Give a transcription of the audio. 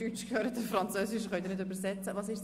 Diesen Zusatz braucht es nicht.